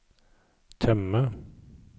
temme